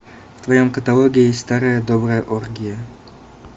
в твоем каталоге есть старая добрая оргия